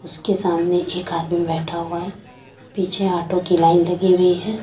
उसके सामने एक आदमी बैठा हुआ है पीछे ऑटो की लाइन लगी हुई है।